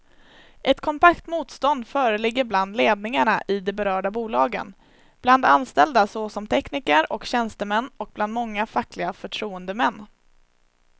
Ett kompakt motstånd föreligger bland ledningarna i de berörda bolagen, bland anställda såsom tekniker och tjänstemän och bland många fackliga förtroendemän.